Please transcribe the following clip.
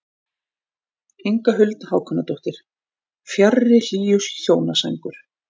Inga Huld Hákonardóttir: Fjarri hlýju hjónasængur.